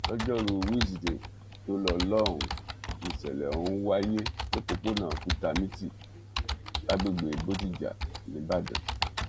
lọjọ́rùú wísideè tó lọ lọ́hùn-ún níṣẹ̀lẹ̀ ọ̀hún wáyé lópòópónà kútamítì lágbègbè bódìjà níbàdàn